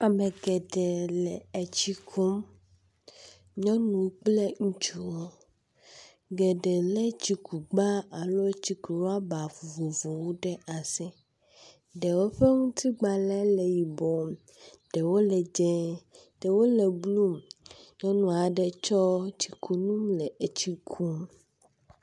Ame geɖe le tsi kum. Nyɔnu kple ŋutsuwo. Geɖe lé tsikugba alo tsikurɔba vovovowo ɖe asi. Ɖewo ƒe ŋutigbalẽ le yibɔ, ɖewo le dzɛ̃e, ɖewo le blu. Nyɔnu aɖe kɔ tsikunu le tsi kum.